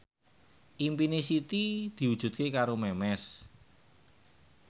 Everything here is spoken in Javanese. impine Siti diwujudke karo Memes